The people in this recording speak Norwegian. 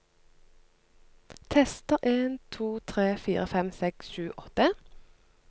Tester en to tre fire fem seks sju åtte